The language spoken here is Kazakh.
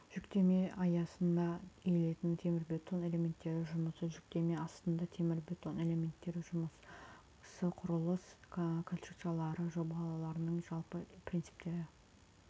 жүктеме астында иілетін темірбетон элементтері жұмысы жүктеме астында темірбетон элементтері жұмысы құрылыс конструкциялары жобаларының жалпы принциптері